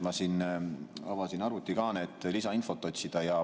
Ma avasin arvutikaane, et lisainfot otsida.